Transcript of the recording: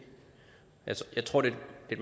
i